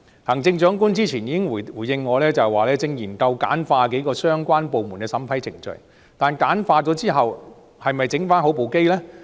行政長官之前曾回應我，正研究簡化數個相關部門的審批程序，但簡化是否代表焗麵包機維修好呢？